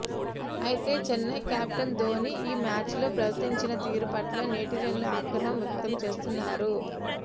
అయితే చెన్నై కెప్టెన్ ధోనీ ఆ మ్యాచ్లో ప్రవర్తించిన తీరు పట్ల నెట్జెన్లు ఆగ్రహం వ్యక్తం చేస్తున్నారు